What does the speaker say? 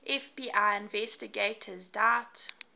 fbi investigators doubt